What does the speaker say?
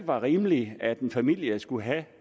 var rimeligt at en familie skulle have